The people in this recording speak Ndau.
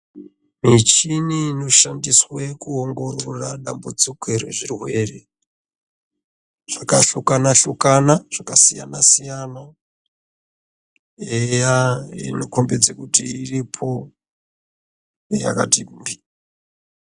Michini inoshandiswe kuongorora dambudziko rezvirwere zvakhlukana-hlukana, zvakasiyanasiyano, eeeya inokhombidze kuti iripo ,yakati bhi.